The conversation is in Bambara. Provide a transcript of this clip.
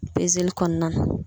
kɔnɔna na.